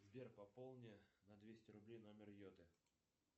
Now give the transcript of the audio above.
сбер пополни на двести рублей номер йоты